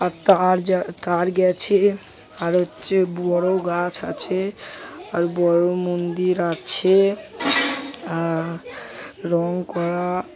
আর তার যা তার গেছে আর হচ্ছে বড়ো গাছ আছে আর বড়ো মন্দির আছে অ্যা-- রং করা।